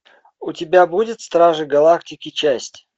у тебя будет стражи галактики часть